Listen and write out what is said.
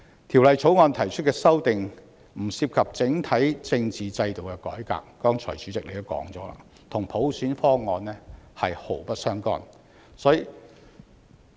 《條例草案》提出的修訂不涉及整體政治制度的改革，與普選方案是毫不相干。